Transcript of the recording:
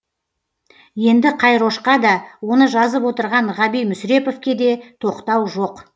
енді қайрошқа да оны жазып отырған ғаби мүсіреповке де тоқтау жоқ